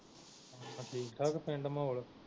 ਠੀਕ ਠਾਕ ਪਿੰਡ ਮਾਹੌਲ